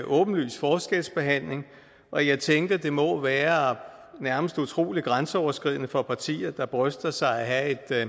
åbenlys forskelsbehandling og jeg tænker at det må være nærmest utrolig grænseoverskridende for partier der bryster sig af at